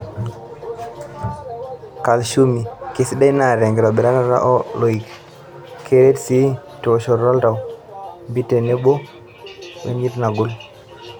Kalshium:Kisdai ena tenkitobirata oo loik. Keret sii teoshoto oltau, npit tenebo lala wenyirt nagol.